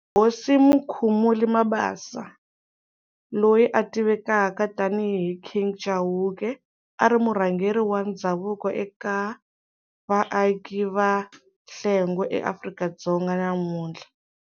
Hosi Mukhumuli Mabasa, loyi a tivekaka tani hi King Chauke, ari murhangeri wa ndzhavuko eka vaaki va Hlengwe eAfrika-Dzonga ya namuntlha.